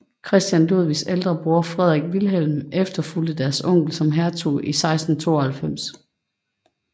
Christian Ludvigs ældre bror Frederik Vilhelm efterfulgte deres onkel som hertug i 1692